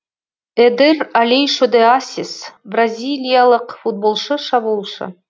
эдер алейшо де ассис бразилиялық футболшы шабуылшы